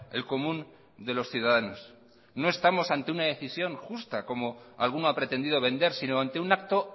el común de los ciudadanos no estamos ante una decisión justa como alguno ha pretendido vender sino ante un acto